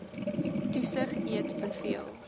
toesig eet beveel